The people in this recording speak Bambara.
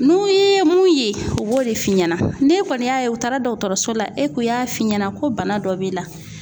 N'u ye mun ye, u b'o de f'i ɲɛna, n'e kɔni y'a ye u taara dɔkɔtɔrɔso la, k'u y'a f'i ɲɛna ko bana dɔ b'i la